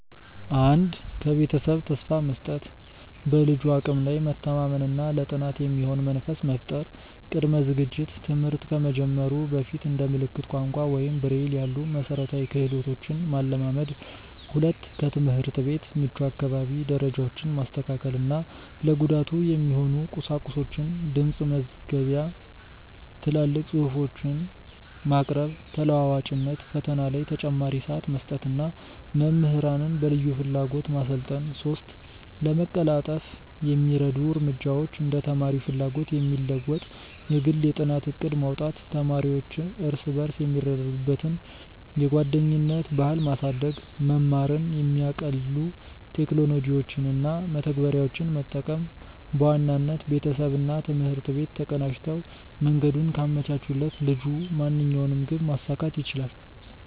1. ከቤተሰብ ተስፋ መስጠት፦ በልጁ አቅም ላይ መተማመን እና ለጥናት የሚሆን መንፈስ መፍጠር። ቅድመ ዝግጅት፦ ትምህርት ከመጀመሩ በፊት እንደ ምልክት ቋንቋ ወይም ብሬይል ያሉ መሠረታዊ ክህሎቶችን ማለማመድ። 2. ከትምህርት ቤት ምቹ አካባቢ፦ ደረጃዎችን ማስተካከል እና ለጉዳቱ የሚሆኑ ቁሳቁሶችን (ድምፅ መዝገቢያ፣ ትላልቅ ጽሁፎች) ማቅረብ። ተለዋዋጭነት፦ ፈተና ላይ ተጨማሪ ሰዓት መስጠት እና መምህራንን በልዩ ፍላጎት ማሰልጠን። 3. ለማቀላጠፍ የሚረዱ እርምጃዎች እንደ ተማሪው ፍላጎት የሚለወጥ የግል የጥናት ዕቅድ ማውጣት። ተማሪዎች እርስ በርስ የሚረዱዱበትን የጓደኝነት ባህል ማሳደግ። መማርን የሚያቀልሉ ቴክኖሎጂዎችን እና መተግበሪያዎችን መጠቀም። በዋናነት፣ ቤተሰብና ትምህርት ቤት ተቀናጅተው መንገዱን ካመቻቹለት ልጁ ማንኛውንም ግብ ማሳካት ይችላል።